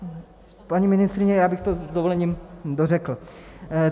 Paní ministryně, já bych to s dovolením dořekl.